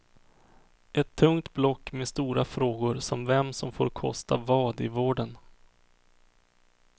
Ett tungt block med stora frågor som vem som får kosta vad i vården.